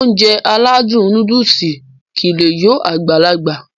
Ounjẹ aládùn nóódùsì kìí lé yó Agbalaga